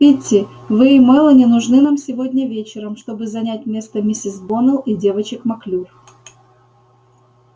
питти вы и мелани нужны нам сегодня вечером чтобы занять место миссис боннелл и девочек маклюр